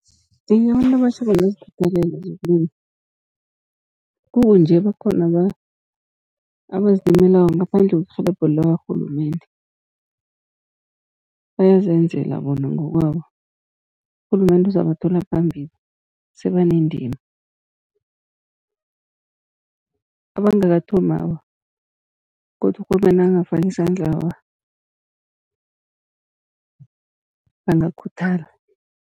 Iye, abantu abatjha bangazikhuthalela zokulima, kukunje bakhona abazilimelako ngaphandle kwerhelebho lakarhulumende. Bayazenzela bona ngokwabo, urhulumende uzabathola phambili sebanendima. Abangakathomi awa godu urhulumende nakangafaka isandla awa bangakhuthala.